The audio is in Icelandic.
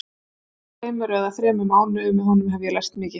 Á aðeins tveimur eða þremur mánuðum með honum hef ég lært mikið.